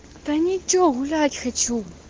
да ничего гулять хочу